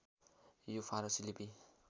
यो फारसी लिपि